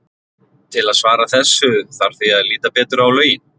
Til að svara þessu þarf því að líta betur á lögin.